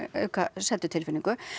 auka seddutilfinningu